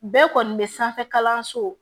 Bɛɛ kɔni bɛ sanfɛ kalanso